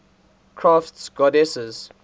crafts goddesses